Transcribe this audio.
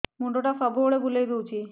ମୁଣ୍ଡଟା ସବୁବେଳେ ବୁଲେଇ ଦଉଛି